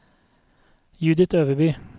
Judith Øverby